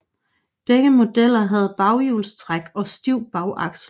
Begge modeller havde baghjulstræk og stiv bagaksel